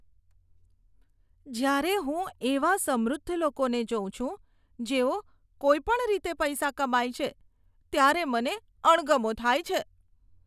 જ્યારે હું એવા સમૃદ્ધ લોકોને જોઉં છું જેઓ કોઈ પણ રીતે પૈસા કમાય છે, ત્યારે મને અણગમો થાય છે.